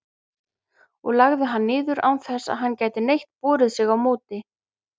og lagði hann niður, án þess að hann gæti neitt borið sig á móti.